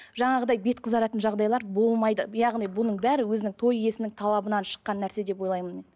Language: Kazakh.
жаңағыдай бет қызаратын жағдайлар болмайды яғни бұның бәрі өзінің той иесінің талабынан шыққан нәрсе деп ойлаймын